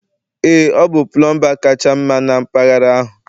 ee ọ bụ pulumba kacha mma na mpaghara ahụ